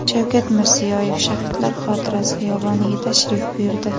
Shavkat Mirziyoyev Shahidlar xotirasi xiyoboniga tashrif buyurdi.